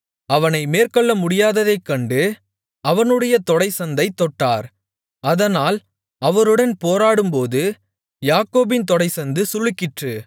அவனை மேற்கொள்ள முடியாததைக்கண்டு அவனுடைய தொடைச்சந்தைத் தொட்டார் அதனால் அவருடன் போராடும்போது யாக்கோபின் தொடைச்சந்து சுளுக்கிற்று